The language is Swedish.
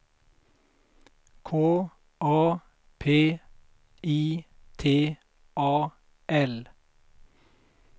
K A P I T A L